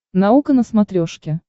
наука на смотрешке